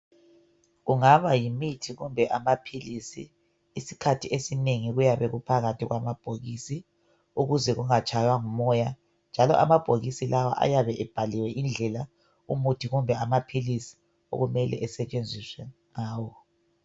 Kungaba yimithi kumbe amaphilisi isikhathi esinengi kuyabe kuphakathi kwamabhokisi ukuze kungatshaywa ngumoya njalo amabhokisi lawa ayabe ebhaliwe indlela umuthi kumbe amaphilisi okumele esetshenziswe ngayo.